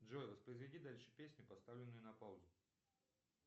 джой воспроизведи дальше песню поставленную на паузу